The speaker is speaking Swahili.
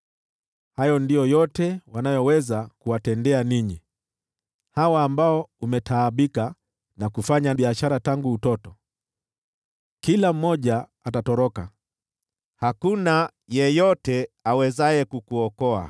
Hayo ndiyo yote wanayoweza kuwatendea ninyi, hawa ambao umetaabika nao na kufanya nao biashara tangu utoto. Kila mmoja atatoroka; hakuna yeyote awezaye kukuokoa.